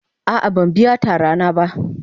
A'a ban biya tara na ba.